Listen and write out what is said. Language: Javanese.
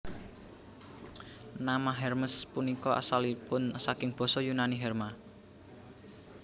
Nama Hermes punika asalipun saking Basa Yunani herma